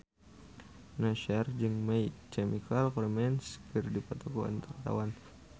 Nassar jeung My Chemical Romance keur dipoto ku wartawan